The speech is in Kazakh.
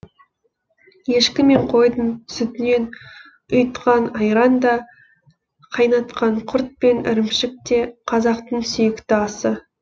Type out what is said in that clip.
ешкі мен қойдың сүтінен ұйытқан айран да қайнатқан құрт пен ірімшік те қазақтың сүйікті асы